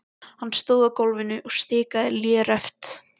Hann stóð á gólfinu og stikaði léreft.